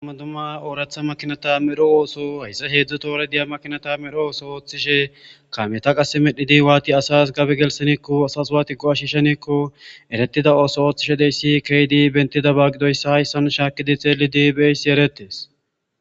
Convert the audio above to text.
madumma ooratha makinata medho ooso hayssa heedzdzo toore diya makinata medho ooso ooththishe kameeta qase medhi di waati asas gabe gelseneekko asas waati go'ash shenekko eretida ooso ooththishe dey si keydi bentida baagidoyssa hayssan shaakidi xeeli diibeeysi eretes